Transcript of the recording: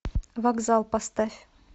вокзал поставь